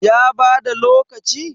ya bada lokaci?